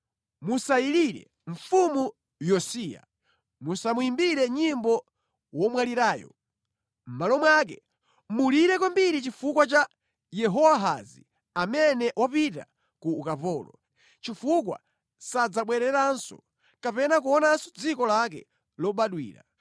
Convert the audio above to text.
Musayilire mfumu Yosiya, musamuyimbire nyimbo womwalirayo; mʼmalo mwake, mulire kwambiri chifukwa cha Yehowahazi amene wapita ku ukapolo, chifukwa sadzabwereranso kapena kuonanso dziko lake lobadwira.